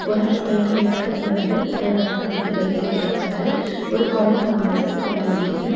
ஒரு ஆளு பைக்ல ஏற போறாரு ஒரு ஆளு வந்து பைக்ல இருக்காரு ஒரு குழந்தை வந்து கிட்ட நிக்குது.